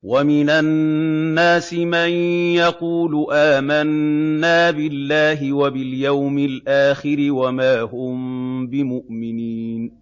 وَمِنَ النَّاسِ مَن يَقُولُ آمَنَّا بِاللَّهِ وَبِالْيَوْمِ الْآخِرِ وَمَا هُم بِمُؤْمِنِينَ